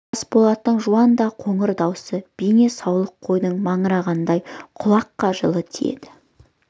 қасболаттың жуан да қоңыр даусы бейне саулық қойдың маңырағанындай құлаққа жылы тиеді